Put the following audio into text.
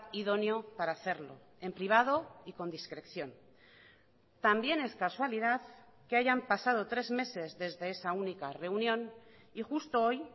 idóneo para hacerlo en privado y con discreción también es casualidad que hayan pasado tres meses desde esa única reunión y justo hoy